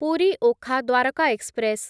Puri Okha Dwarka express